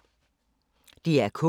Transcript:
DR K